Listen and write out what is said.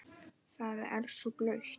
Það er svo blautt.